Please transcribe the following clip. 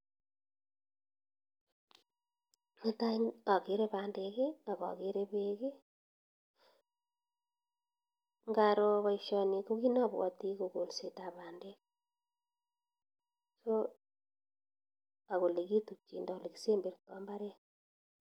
Netai akere bandek akakere bek , ngaro baishoni ko kit nabwati kokolset ap bandek ak ole kitukchindo ole kisemberta mbaret.